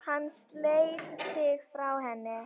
Hann sleit sig frá henni.